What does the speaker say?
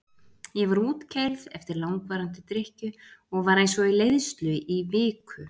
Ég var útkeyrð eftir langvarandi drykkju og var eins og í leiðslu í viku.